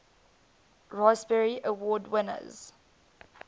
raspberry award winners